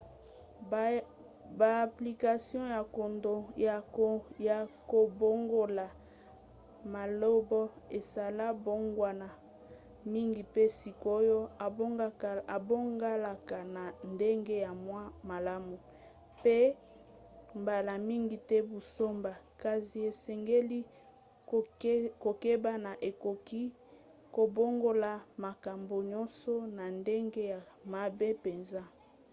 baapplication ya kobongola maloba esala mbongwana mingi pe sikoyo ebongalaka na ndenge ya mwa malamu pe mbala mingi te buzoba kasi esengeli kokeba po ekoki kobongola makambo nyonso na ndenge ya mabe mpenza